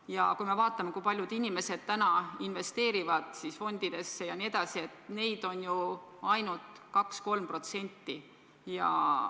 Ja kui me vaatame, kui paljud inimesed praegu investeerivad fondidesse, siis näeme, et neid on ju ainult 2–3%.